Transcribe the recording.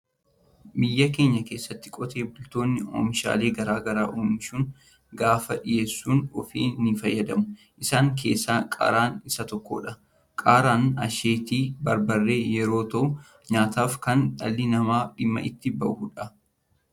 Biyya keenya keessatti qotee bultoonni oomishaalee gara garaa oomishuun gabaaf dhiyeessuun ofiis ni fayyadamu. Isaan keessaa Qaaraan isa tokkodha. Qaaraan asheeta Barbaree yeroo ta'u nyaataaf kan dhalli namaa dhimma itti bahudha.